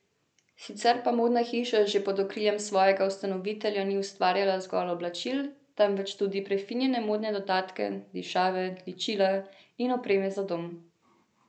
Sicer pa modna hiša že pod okriljem svojega ustanovitelja ni ustvarjala zgolj oblačil, temveč tudi prefinjene modne dodatke, dišave, ličila in opremo za dom.